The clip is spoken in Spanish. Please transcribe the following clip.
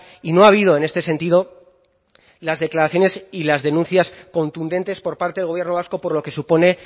y no ha habido en este sentido las declaraciones y las denuncias contundentes por parte del gobierno vasco por lo que supone